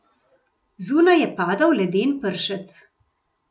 Zunaj je padal leden pršec.